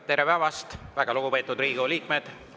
Tere päevast, väga lugupeetud Riigikogu liikmed!